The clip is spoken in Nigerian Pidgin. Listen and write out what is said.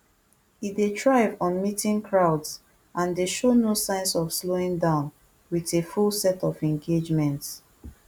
e dey thrive on meeting crowds and dey show no signs of slowing down wit a full set of engagements